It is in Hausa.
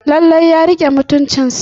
Lallai ya rike mutuncinsa.